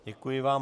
Děkuji vám.